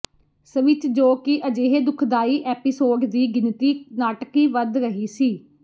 switch ਜੋ ਕਿ ਅਜਿਹੇ ਦੁਖਦਾਈ ਐਪੀਸੋਡ ਦੀ ਗਿਣਤੀ ਨਾਟਕੀ ਵੱਧ ਰਹੀ ਸੀ